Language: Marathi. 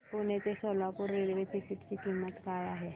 पुणे ते सोलापूर रेल्वे तिकीट ची किंमत काय आहे